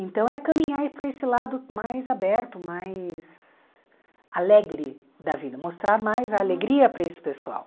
Então é caminhar aí para esse lado mais aberto, mais alegre da vida, mostrar mais a alegria para esse pessoal.